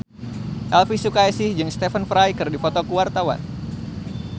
Elvy Sukaesih jeung Stephen Fry keur dipoto ku wartawan